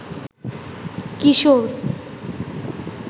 কিশোর